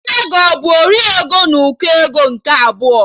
Nne gị abụ 'ori ego n'ụkọ ego nke abụọ'?